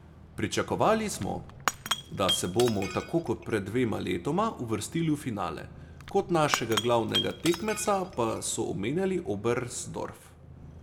Pričakovali smo, da se bomo tako kot pred dvema letoma uvrstili v finale, kot našega glavnega tekmeca pa so omenjali Oberstdorf.